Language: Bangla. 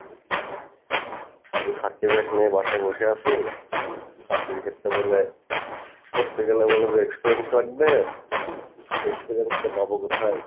শুধু certificate নিয়ে বাসায় বসে আসি certificate করতে গেলে বলে যে experience লাগবে, experience টা পাবো কোথাই?